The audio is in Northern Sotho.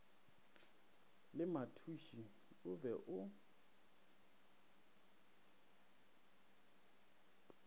le mathuši o be o